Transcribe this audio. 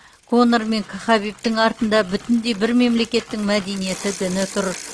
конор мен к хабибтің артында бүтіндей бір мемлекеттің мәдениеті діні тұр